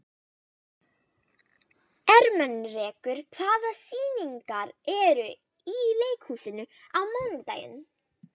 Hana uppskera menn sem brjóta af sér.